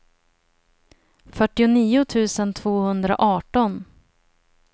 fyrtionio tusen tvåhundraarton